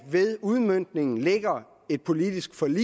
udmøntningen ligger et politisk forlig